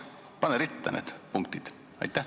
Pane ritta need punktid!